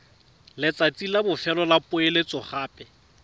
letsatsi la bofelo la poeletsogape